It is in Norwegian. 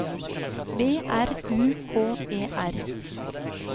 B R U K E R